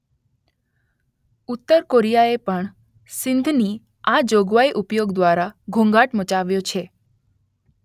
ઉત્તર કોરિયાએ પણ સંધિની આ જોગવાઈના ઉપયોગ દ્વારા ઘોંઘાટ મચાવ્યો છે